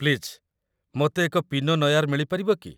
Please, ମୋତେ ଏକ ପିନୋ ନୟାର୍ ମିଳି ପାରିବ କି?